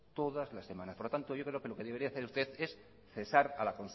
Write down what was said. todas las semanas por lo tanto yo creo que lo que debería hacer usted es cesar a la